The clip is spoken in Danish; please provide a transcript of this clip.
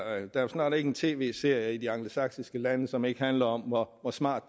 er jo snart ikke en tv serie i de angelsaksiske lande som ikke handler om hvor hvor smart